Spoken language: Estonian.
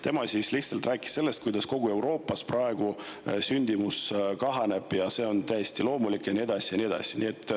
Tema lihtsalt rääkis sellest, kuidas praegu kogu Euroopas sündimus kahaneb, see on täiesti loomulik ja nii edasi.